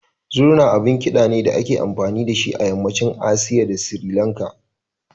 Zurna abun ƙida ne da ake amfani da shi a yammacin Asiya da Sirilanka.